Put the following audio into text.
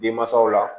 Denmansaw la